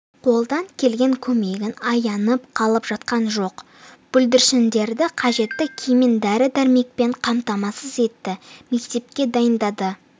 қолдан келген көмегін аянып қалып жатқан жоқ бүлдіршіндерді қажетті киіммен дәрі-дәрмекпен қамтамасыз етті мектепке дайындады